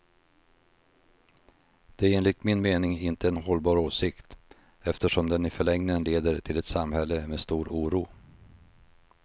Det är enligt min mening inte en hållbar åsikt, eftersom den i förlängningen leder till ett samhälle med stor oro.